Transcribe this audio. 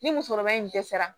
Ni musokɔrɔba in dɛsɛra